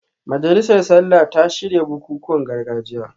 Majalisar Sallah ta shirya bukukuwan gargajiya